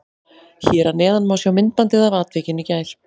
Hér að neðan má sjá myndbandið af atvikinu í gær.